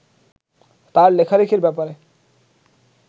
তাঁর লেখালেখির ব্যাপারে